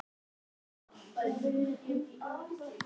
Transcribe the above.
Kristinn Hrafnsson: Þú ert ekki mjög bjartsýn?